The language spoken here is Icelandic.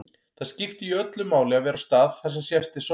Það skiptir jú öllu máli að vera á stað þar sem sést til sólar.